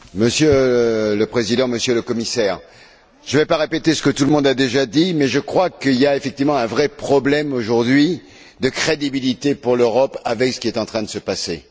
Monsieur le Président, Monsieur le Commissaire, je ne vais pas répéter ce que tout le monde a déjà dit mais je crois que l'Europe a effectivement un vrai problème de crédibilité, aujourd'hui, avec ce qui est en train de se passer.